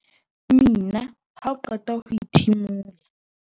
mina ha o qeta ho ithimola